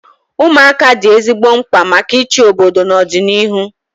Ụmụaka dị ezigbo mkpa maka ịchị obodo na ọdịnihu